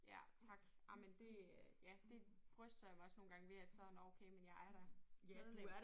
Ja tak ej men det øh ja det bryster jeg mig også nogle gange ved at så nåh okay men jeg er da medlem